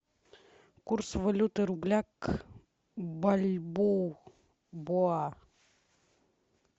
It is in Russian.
курс валюты рубля к бальбоа